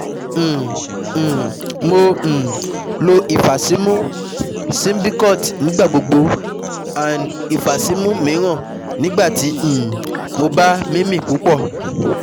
um um Mo um lo ifasimu-Symbicort nigbagbogbo, & ifasimu miiran nigbati um mo ba mimi pupọ